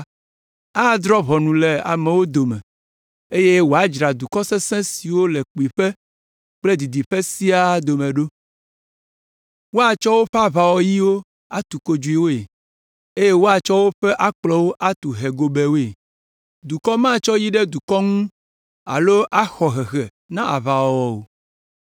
Adrɔ̃ ʋɔnu le amewo dome, eye wòadzra dukɔ sesẽ siwo le kpuiƒe kple didiƒe siaa la dome ɖo. Woatsɔ woƒe aʋawɔyiwo atu kodzoewoe, eye woatsɔ woƒe akplɔwo atu hɛ gobɛwoe. Dukɔ matsɔ yi ɖe dukɔ ŋu alo axɔ hehe na aʋawɔwɔ o.